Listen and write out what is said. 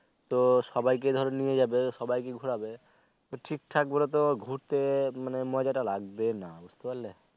তো সবাইকে ধরো নিয়ে যাবে সবাইকে ঘুরাবে ঠিক ঠাক বলে তো ঘুরতে মানে মজা টা লাগবে না বুঝতে পারলে